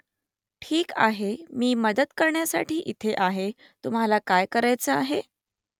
ठीक आहे मी मदत करण्यासाठी इथे आहे तुम्हाला काय करायचं आहे ?